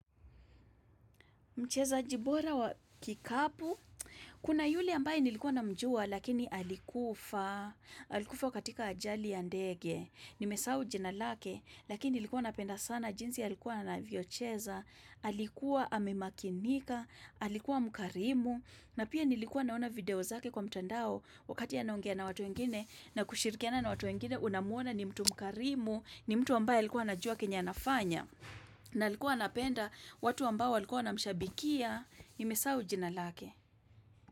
Mchezaji bora wa kikapu, kuna yule ambaye nilikuwa na mjua lakini alikufa, alikufa katika ajali ya ndege, nimesahu jinalake lakini nilikuwa na penda sana jinsi alikuwa ana vyocheza, alikuwa amemakinika, alikuwa mkarimu, na pia nilikuwa naona video zake kwa mtandao wakati ya anangea na watu wengine na kushirikiana na watu wengine unamuona ni mtu mkarimu, ni mtu ambaye alikuwa anajua kenye anafanya. Na likuwa napenda watu ambao walikuwa wanamshabikia ni mesahau jina lake.